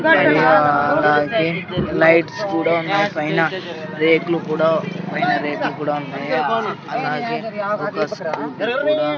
ఆ అలాగే లైట్స్ కూడా ఉన్నాయి పైన రేకులు కూడా పైన రేకులు కూడా ఉన్నాయి అలాగే ఒక స్కూటీ కూడా --